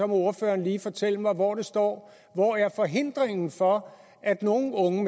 må ordføreren lige fortælle mig hvor det står hvor er forhindringen for at nogle unge